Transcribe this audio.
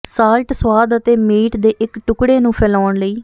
salt ਸੁਆਦ ਅਤੇ meat ਦੇ ਇੱਕ ਟੁਕੜੇ ਨੂੰ ਫੈਲਾਉਣ ਲਈ